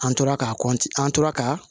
An tora ka an tora ka